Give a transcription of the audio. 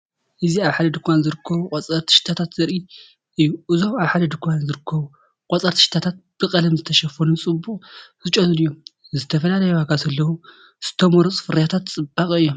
እዚ ኣብ ሓደ ድኳን ዝርከቡ ቆጸርቲ ሽታታት ዘርኢ እዩ። እዞም ኣብ ሓደ ድኳን ዝተረከቡ ቆጸርቲ ሽቶታት፡ ብቀለም ዝተሸፈኑን ፅበቅ ዝጨኑን እዮም። ዝተፈላለየ ዋጋ ዘለዎም ዝተመርጹ ፍርያት ጽባቐ እዮም።